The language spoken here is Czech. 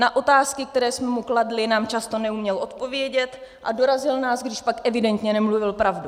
Na otázky, které jsme mu kladli, nám často neuměl odpovědět a dorazil nás, když pak evidentně nemluvil pravdu.